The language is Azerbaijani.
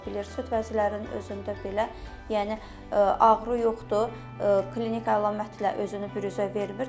Süd vəzlərinin özündə belə, yəni ağrı yoxdur, klinik əlamətlə özünü büruzə vermir.